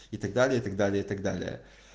и так далее и так далее и так далее